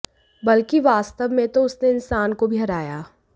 बल्कि वास्तव में तो उसने इनसान को भी हराया